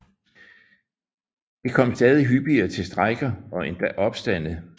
Det kom stadig hyppigere til strejker og endda opstande